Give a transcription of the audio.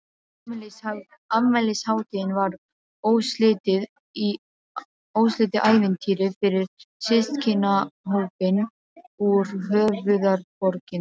Afmælishátíðin var óslitið ævintýri fyrir systkinahópinn úr höfuðborginni.